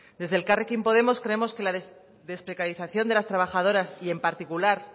desde elkarrekin podemos creemos que la desprecarización de las trabajadoras y en particular